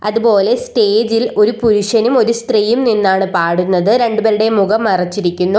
അതുപോലെ സ്റ്റേജ് ഇൽ ഒരു പുരുഷനും ഒരു സ്ത്രീയും നിന്നാണ് പാടുന്നത് രണ്ട് പേരുടെയും മുഖം മറച്ചിരിക്കുന്നു.